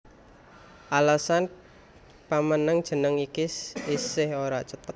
Alesan pamènèhan jeneng iki isih ora cetha